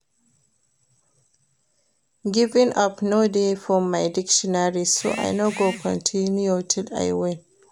Giving up no dey for my dictionary so I go continue till I win